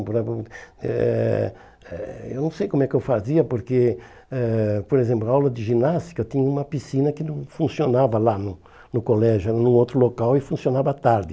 eh eh Eu não sei como é que eu fazia, porque, eh por exemplo, a aula de ginástica tinha uma piscina que não funcionava lá no no colégio, era num outro local e funcionava à tarde.